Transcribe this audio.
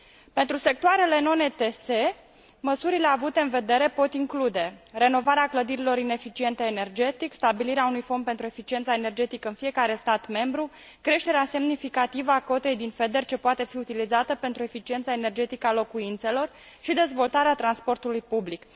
Pentru sectoarele non ETS măsurile avute în vedere pot include renovarea clădirilor ineficiente energetic, stabilirea unui fond pentru eficiența energetică în fiecare stat membru, creșterea semnificativă a cotei din FEDER ce poate fi utilizată pentru eficiența energetică a locuințelor și dezvoltarea transportului public.